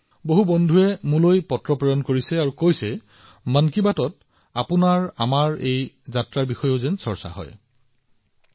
বহু সহকৰ্মীয়ে মোক মন কী বাতত আমাৰ এই ৭ বছৰীয়া সাধাৰণ পৰিক্ৰমাৰ বিষয়ে আলোচনা কৰিবলৈ কৈ পত্ৰ প্ৰেৰণ কৰিছে